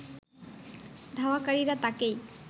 ধাওয়াকারীরা তাকেই